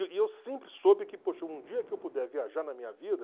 E eu sempre soube que, poxa, um dia que eu puder viajar na minha vida...